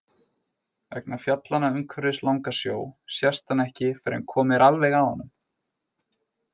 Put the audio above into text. Vegna fjallanna umhverfis Langasjó sést hann ekki fyrr en komið er alveg að honum.